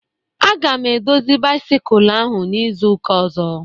A ga m edozi bisikul ahụ n'izuka ozo